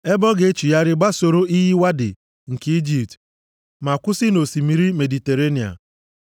ebe ọ ga-echigharị gbasoro iyi Wadi nke Ijipt ma kwụsị nʼosimiri Mediterenịa.